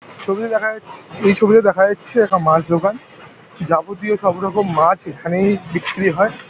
ছবিতে দেখা যা এই ছবিতে দেখা যাচ্ছে একটা মাছ দোকান । যাবতীয় সব রকম মাছ এইখানেই বিক্রি হয় ।